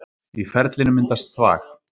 Í ferlinu myndast þvag.